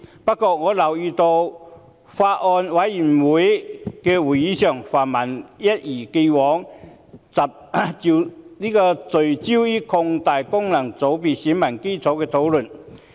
不過，我留意到在相關法案委員會會議上，泛民議員一如既往，聚焦討論擴大功能界別選民基礎的問題。